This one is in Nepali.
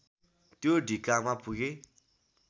त्यो ढिकामा पुगे